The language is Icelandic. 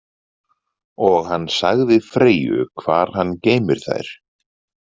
Og hann sagði Freyju hvar hann geymir þær.